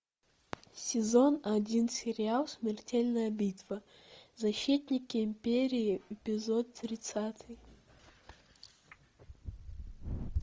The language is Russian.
сезон один сериал смертельная битва защитники империи эпизод тридцатый